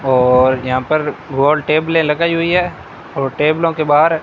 और यहां पर गोल टैबले लगाई हुई है और टेबलो के बाहर--